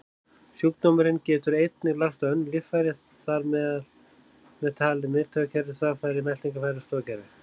Sjúkdómurinn getur einnig lagst á önnur líffæri, þar með talið miðtaugakerfi, þvagfæri, meltingarfæri og stoðkerfi.